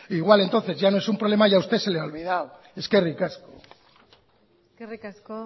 igual entonces ya no es un problema y a usted se le ha olvidado eskerrik asko eskerrik asko